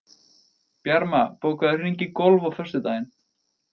Bjarma, bókaðu hring í golf á föstudaginn.